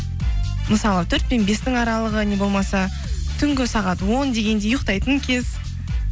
мысалы төрт пен бестің аралығы не болмаса түнгі сағат он дегендей ұйықтайтын кез